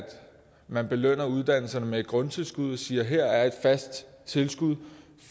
man belønner uddannelserne med et grundtilskud og siger her er et fast tilskud